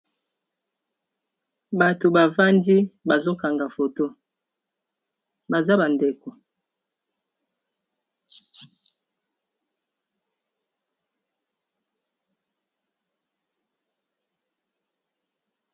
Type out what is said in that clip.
Bato bavandi bazokanga foto baza bandeko